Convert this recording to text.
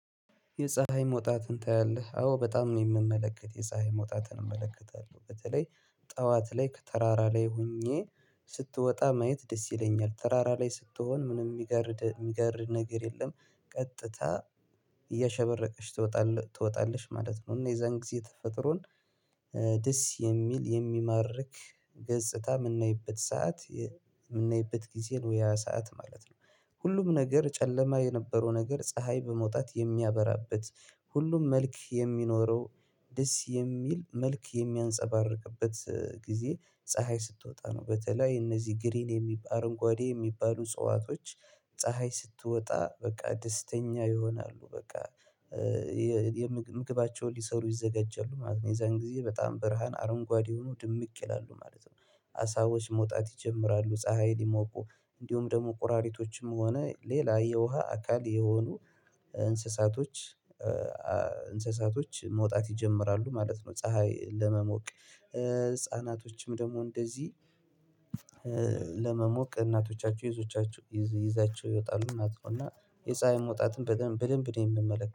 የፀሀይ መውጣትን ታያለህ? አዎ በጣም ነው የምመለከት የፀሀይ መውጣትን እመለከታለሁ በተለይ ጠዋት ላይ ከተራራ ላይ ሆኜ ስትወጣ ማየት ደስ ይለኛል። ተራራ ላይ ስትሆን ምንም የሚገርድ የሚገርድ ነገር የለም ቀጥታ እያሸበረቀች ትወጣለች ማለት ነው እና የዛን ጊዜ ተፈጥሮን ደስ የሚል የሚማርክ ገጽታ የምናይበት ሰዓት የምናይበት ጊዜ ነው ያ ሰዓት ማለት ነው ሁሉም ነገር ጨለማ የነበረው ነገር ፀሀይ በመውጣት የሚያበራበት ሁሉም መልክ የሚኖረው ደስ የሚል መልክ የሚያንፀባርቅበት ጊዜ ፀሀይ ስትወጣ ነው በተለይ እነዚህ ግሪን የሚባል አረንጓዴ የሚባሉ ፅዋቶች ፀሀይ ስትወጣ በቃ ደስተኛ ይሆናሉ በቃ ምግባቸውን ሊሰሩ ይዘጋጃሉ ማለት ነው የዛን ጊዜ በጣም ብርሃን አረንጓዴ ሆኖ ድምቅ ይላሉ ማለት ነው አሳዎች መውጣት ይጀምራሉ ፀሀይ ሊሞቁ እንዲሁም ደግሞ ቁራሪቶችም ሆነ ሌላ የውሃ አካል የሆኑ እንስሳቶች መውጣት ይጀምራሉ ማለት ነው ፀሀይ ለመሞቅ ህፃናቶችም ደግሞ እንደዚህ ለመሞቅ እናቶቻቸው ይዞቻችሁ ይዘዋቸው ይወጣሉ እናት እና መውጣትን በደንብ በደንብ የምመለከተው